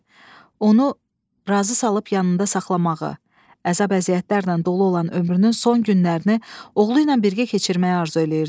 Onu razı salıb yanında saxlamağı, əzab-əziyyətlərlə dolu olan ömrünün son günlərini oğlu ilə birgə keçirməyi arzu eləyirdi.